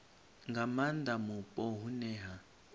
nga maanda mupo hune ha